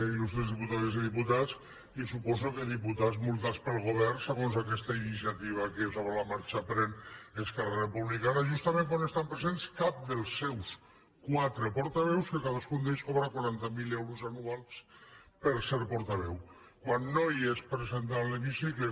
il·lustres diputades i diputats i suposo que diputats multats pel govern segons aquesta iniciativa que sobre la marxa pren esquerra republicana justament quan no estan presents cap dels seus quatre portaveus que cadascun d’ells cobra quaranta mil euros anuals per ser portaveu quan no hi és present a l’hemicicle